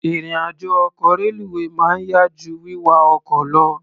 Ìrìn-àjọ ọkọ̀ reluwé máa ń yá jú wíwa ọkọ̀ lọ.